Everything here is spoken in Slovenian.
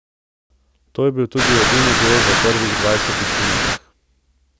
To je bil tudi edini gol v prvih dvajsetih minutah.